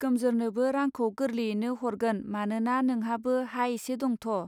गोमजोरनोबो रांखौ गोर्लेयैनो हरगोन मानोना नोंहाबो हा एसे दंथ.